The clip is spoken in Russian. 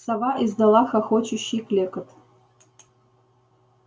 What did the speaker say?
сова издала хохочущий клёкот